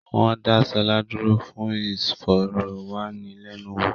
Wọ́n dá Ṣọlá dúró fún ìfọ̀rọ̀ wá ni lẹ́nu wò